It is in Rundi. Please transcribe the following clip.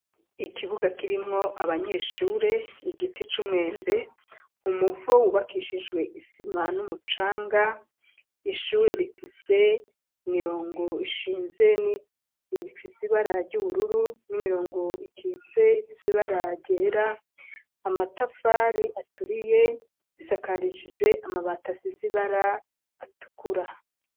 Ikibuga, kirimwo abanyeshure, igiti c'umwembe, umuvo, wubakishijwe isima, n'umucanga; ishure rifise, imirongo ishinze, ifise ibara ry'ubururu, n'imirongo ikitse, ifise ibara ryera; amatafari aturiye, isakarishijwe amabati, asize ibara, atukura.